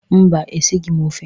Mba, esighị m ofe